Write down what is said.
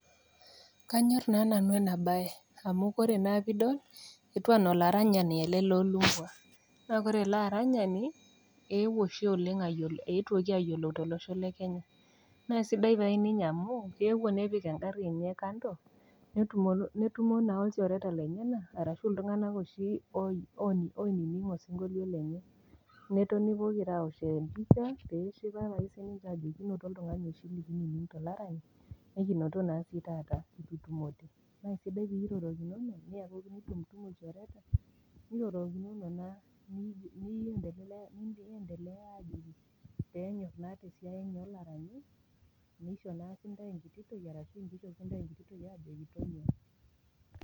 Kanyor na nanu enabae amu ore peidol etiu anaa olaranyani ele lolumbwa na ore elearanyani ewuo oshi oleng eetuoki ayiolou tolosho le Kenya ,nasidai taa ninye amu keewuo nepik engari enye kando netumo naa olchoreta lenyenak arashu a ltunganak oshi o o oininig osinkolio lenye, netonu pokira aosh empisha amu oltungani oshiakie oininingito nekinoto si taata ,nekutumore kesidai enirorokinono niakuku lchereta.